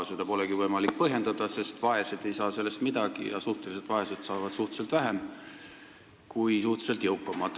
Seda polegi võimalik põhjendada, sest vaesed ei saa sellest midagi ja suhteliselt vaesed saavad suhteliselt vähem kui suhteliselt jõukamad.